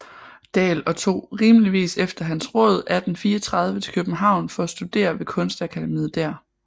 Dahl og tog rimeligvis efter hans råd 1834 til København for at studere ved Kunstakademiet der